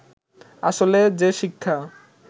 আসলে যে শিক্ষা